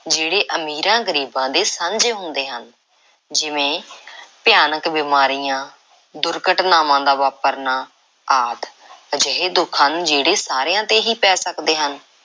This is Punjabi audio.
ਜਿਹੜੇ ਅਮੀਰਾਂ, ਗਰੀਬਾਂ ਦੇ ਸਾਂਝੇ ਹੁੰਦੇ ਹਨ, ਜਿਵੇਂ ਭਿਆਨਕ ਬਿਮਾਰੀਆਂ, ਦੁਰਘਟਨਾਵਾਂ ਦਾ ਵਾਪਰਨਾ ਆਦਿ ਅਜਿਹੇ ਦੁੱਖ ਹਨ ਜਿਹੜੇ ਸਾਰਿਆਂ ‘ਤੇ ਹੀ ਪੈ ਸਕਦੇ ਹਨ।